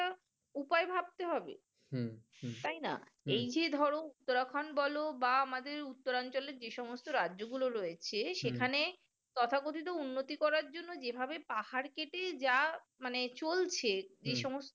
তাই না এই যে ধরো যখন বলো বা আমাদের উত্তরাঞ্চলে যত রাজ্য গুলা রয়েছে এখানে তথাকথিত উন্নত করার জন্য যেভাবে পাহাড় কেটে চলছে যে সমস্ত